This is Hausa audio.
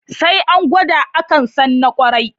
Sai an gwada, akan san na ƙwarai.